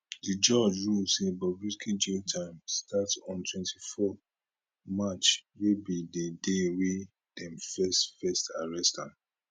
di judge rule say bobrisky jail term start on 24 march wey be di day wey dem first first arrest am